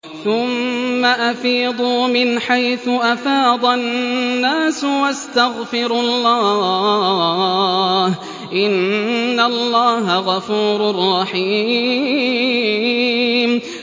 ثُمَّ أَفِيضُوا مِنْ حَيْثُ أَفَاضَ النَّاسُ وَاسْتَغْفِرُوا اللَّهَ ۚ إِنَّ اللَّهَ غَفُورٌ رَّحِيمٌ